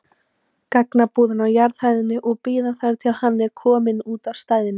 gagnabúðina á jarðhæðinni og bíða þar til hann er kominn út af stæðinu.